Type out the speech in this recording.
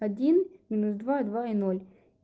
один минус два два и ноль